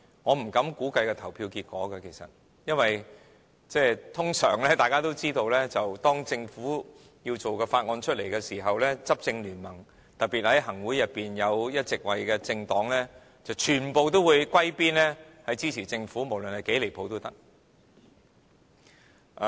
我不敢估計投票結果，因為眾所周知，通常當政府要推出法案時，執政聯盟，特別在行政會議裏有一席位的政黨，全部都要歸邊支持政府，無論是多麼離譜也可以。